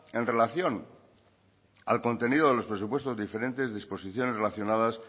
en relación al contenido de los presupuestos diferentes disposiciones relacionadas